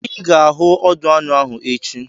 I ga-ahụ ọdụ anụ ahụ echi!